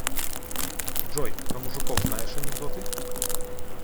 джой про мужиков знаешь анекдоты